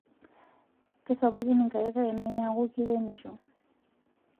kasapukin ingaik ainei niaku kiremisho